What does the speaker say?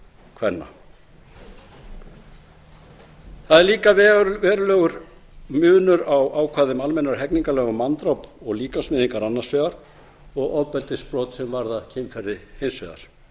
kvenna það er líka verulegur munur á ákvæðum almennra hegningarlaga um manndráp og líkamsmeiðingar annars vegar og ofbeldisbrot sem varða kynferði hins vegar